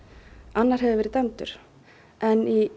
annar hefur verið dæmdur en í